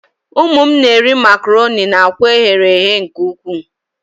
Ụmụ m na-eri macarọnị na akwa eghere eghe nke ukwuu.